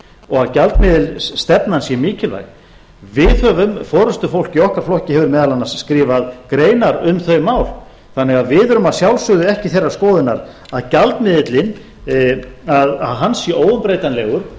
og að gjaldmiðilsstefnan sé mikilvæg við forustufólk í okkar flokki höfum meðal annars skrifað greinar um þau mál þannig að við erum að sjálfsögðu ekki þeirrar skoðunar að gjaldmiðillinn sé óumbreytanlegur